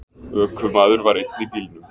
Ökumaður var einn í bílnum.